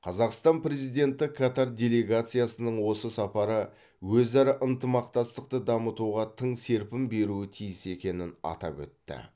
қазақстан президенті катар делегациясының осы сапары өзара ынтымақтастықты дамытуға тың серпін беруі тиіс екенін атап өтті